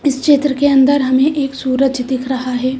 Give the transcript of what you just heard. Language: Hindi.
इस चैनल के अंदर हमें एक सूरज दिख रहा है।